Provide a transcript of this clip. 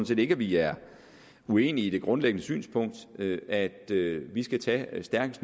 set ikke at vi er uenige i det grundlæggende synspunkt nemlig at vi skal tage så stærk